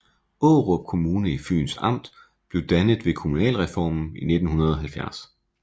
Aarup Kommune i Fyns Amt blev dannet ved kommunalreformen i 1970